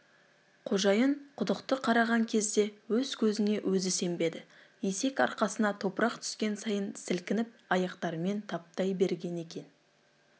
қожайын құдықты қараған кезде өз көзіне өзі сенбеді есек арқасына топырақ түскен сайын сілкініп аяқтарымен таптай берген екен